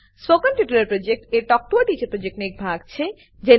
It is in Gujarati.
spoken tutorial project talk to a teacher પ્રોજેક્ટનો એક ભાગ છે